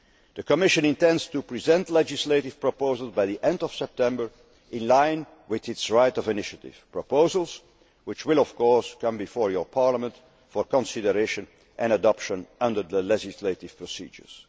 October. The Commission intends to present legislative proposals by the end of September in line with its right of initiative proposals which will, of course, come before your Parliament for consideration and adoption under the legislative procedures.